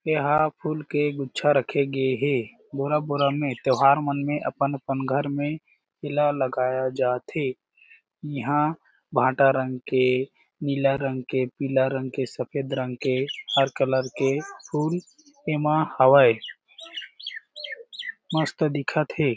ये हा फूल के गुच्छा रखे गए हें बोरा-बोरा में त्योहार मन में अपन-अपन घर में येला लगाया जाथे इहा भाटा रंग के नीला रंग के पीला रंग के सफ़ेद रंग के हर कलर के फूल येमा हावय मस्त दिखत हे।